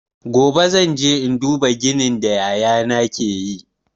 Gobe zan je in duba ginin da yaya na ke yi.